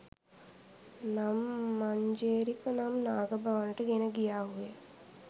නම් මංජේරික නම් නාග භවනට ගෙන ගියාහු ය